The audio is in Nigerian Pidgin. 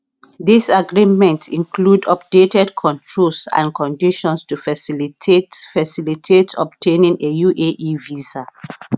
dis agreement include updated controls and conditions to facilitate facilitate obtaining a uae visa